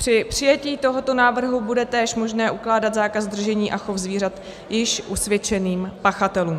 Při přijetí tohoto návrhu bude též možné ukládat zákaz držení a chov zvířat již usvědčeným pachatelům.